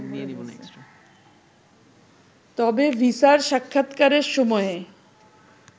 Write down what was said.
তবে ভিসার সাক্ষাতকারের সময়ে